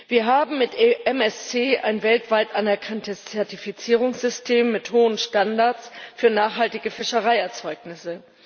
Wir haben mit MSC ein weltweit anerkanntes Zertifizierungssystem mit hohen Standards für nachhaltige Fischereierzeugnisse.